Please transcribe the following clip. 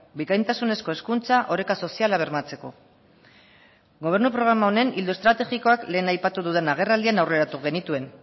bikaintasunezko hezkuntza oreka soziala bermatzeko gobernu programa honen ildo estrategikoak lehen aipatu dudan agerraldian aurreratu genituen